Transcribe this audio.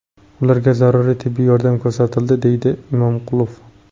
Ularga zaruriy tibbiy yordam ko‘rsatildi”, deydi Imonqulov.